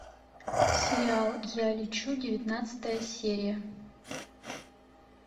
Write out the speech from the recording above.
сериал я лечу девятнадцатая серия